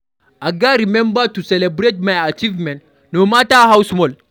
I gats remember to celebrate my achievements, no matter how small.